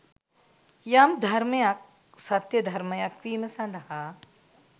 යම් ධර්මයක් සත්‍ය ධර්මයක් වීම සඳහා